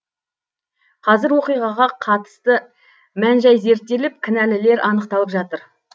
қазір оқиғаға қатысты мән жай зерттеліп кінәлілер анықталып жатыр